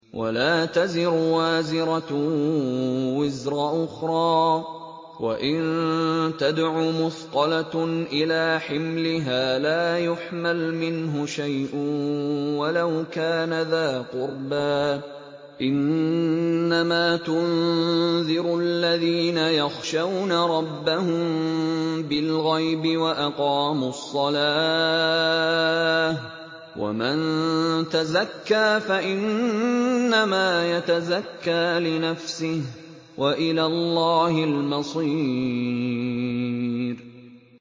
وَلَا تَزِرُ وَازِرَةٌ وِزْرَ أُخْرَىٰ ۚ وَإِن تَدْعُ مُثْقَلَةٌ إِلَىٰ حِمْلِهَا لَا يُحْمَلْ مِنْهُ شَيْءٌ وَلَوْ كَانَ ذَا قُرْبَىٰ ۗ إِنَّمَا تُنذِرُ الَّذِينَ يَخْشَوْنَ رَبَّهُم بِالْغَيْبِ وَأَقَامُوا الصَّلَاةَ ۚ وَمَن تَزَكَّىٰ فَإِنَّمَا يَتَزَكَّىٰ لِنَفْسِهِ ۚ وَإِلَى اللَّهِ الْمَصِيرُ